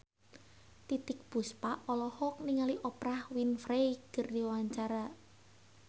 Titiek Puspa olohok ningali Oprah Winfrey keur diwawancara